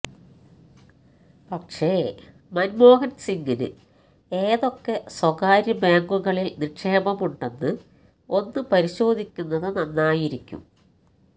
പക്ഷേ മന്മോഹന് സിംഗിന് ഏതൊക്കെ സ്വകാര്യ ബാങ്കുകളില് നിക്ഷേപമുണ്ടെന്ന് ഒന്നു പരിശോധിക്കുന്നത് നന്നായിരിക്കും